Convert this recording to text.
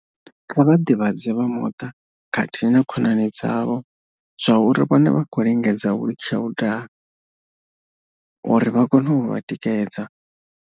Kha vha ḓivhadze vha muṱa khathihi na kho nani dzavho zwa uri vhone vha khou lingedza u litsha u daha uri vha kone u vha tikedza.